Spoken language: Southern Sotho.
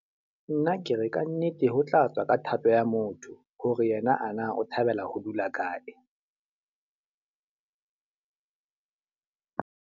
Nna ke re ka nnete ho tla tswa ka thato ya motho. Hore yena a na o thabela ho dula kae.